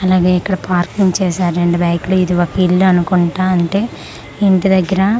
అలాగే ఇక్కడ పార్కింగ్ చేసారు రెండు బైకలు ఇది ఒక ఇల్లు అనుకుంటా అంటే ఇంటి దెగ్గర ఉన్--